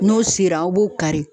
N'o sera aw b'o kari.